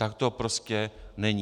Tak to prostě není.